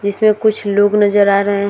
जिस पर कुछ लोग नजर आ रहे हैं।